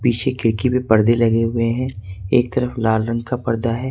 पिछे खिड़की पे पारदे लगे हुए हैं एक तरफ लाल रंग का पर्दा है।